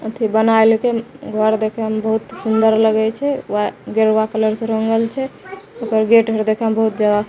एथे बनाए लेके घोर देखेम बहुत सुन्दर लगय छै वै गेरुआ रंग से रंगल छै ओकर गेट अर देखम बहुत जादा --